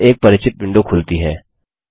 अब एक परिचित विंडो खुलती है